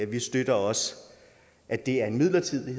vi støtter også at det er en midlertidig